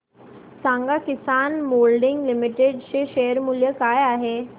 सांगा Kisan moulding limited चे share मूल्य काय आहे